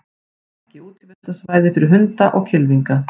Ekki útivistarsvæði fyrir hunda og kylfinga